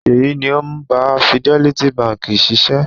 Ṣèyí ni ó ń bá Fidelity Báńkì ṣiṣẹ́.